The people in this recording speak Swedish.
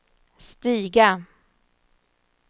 stiga